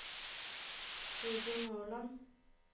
Ruben Håland